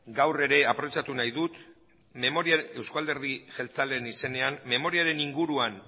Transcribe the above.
aprobetxatu nahi dut memoria eusko alderdi jeltzalearen izenean memoriaren inguruan